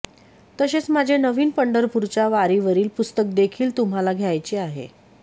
तसेच माझे नवीन पंढरपूरच्या वारीवरील पुस्तकदेखील तुम्हाला द्यायचे आहे